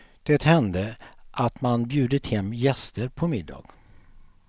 Det hände att man bjudit hem gäster på middag.